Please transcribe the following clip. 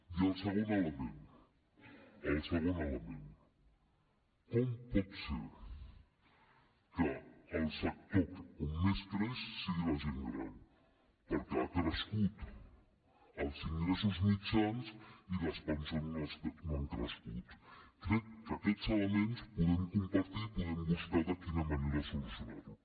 i el segon element el segon element com pot ser que el sector on més creix sigui en la gent gran perquè han crescut els ingressos mitjans i les pensions no han crescut crec que aquests elements els podem compartir i podem buscar de quina manera solucionar los